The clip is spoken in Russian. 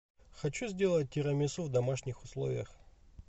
хочу сделать тирамису в домашних условиях